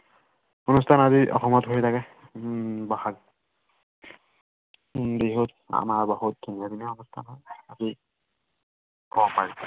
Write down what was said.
অনুষ্ঠান আদি অসমত হৈ থাকে উম ভাষাত বিহু- আমাৰ বহুত বিনন্দীয়া অনুষ্ঠান হয়।